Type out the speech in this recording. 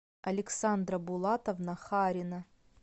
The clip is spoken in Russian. александра булатовна харина